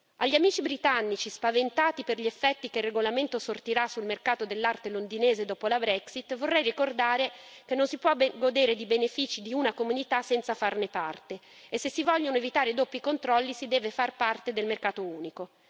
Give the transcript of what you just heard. Agli amici britannici spaventati per gli effetti che il regolamento sortirà sul mercato dell'arte londinese dopo la Brexit vorrei ricordare che non si può godere dei benefici di una comunità senza farne parte e se si vogliono evitare doppi controlli si deve far parte del mercato unico.